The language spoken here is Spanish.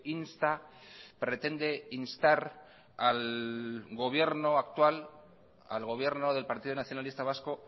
insta pretende instar al gobierno actual al gobierno del partido nacionalista vasco